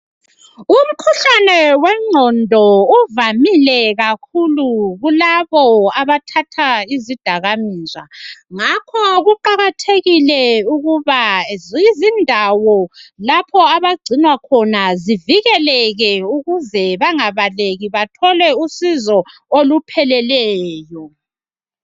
Umkhuhlane wengqondo uvamile kakhulu kulabo abathatha izidakamizwa ngakho kuqakathekile ukuba izindawo lapho abagcinwa khona zivikeleke ukuze bangabaleki bathole usizo olupheleleyo